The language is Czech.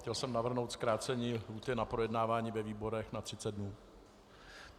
Chtěl jsem navrhnout zkrácení lhůty na projednávání ve výborech na 30 dní.